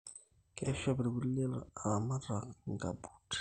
Keishop irkulie laramatak inkabuut